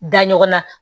Da ɲɔgɔn na